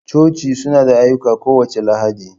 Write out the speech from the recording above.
Coci suna da ayyuka kowace Lahadi.